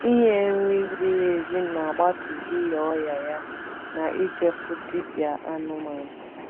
ỉnye nri ziri ezi n’agbatu ịnya ọria ya na ịje fụ dibia anụmanụ